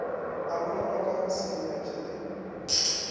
a bolelakago se inyatše le